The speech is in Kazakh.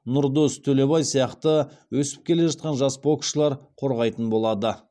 нұрдос төлебай сияқты өсіп келе жатқан жас боксшылар қорғайтын болады